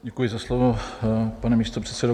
Děkuji za slovo, pane místopředsedo.